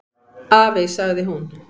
"""Afi, sagði hún."""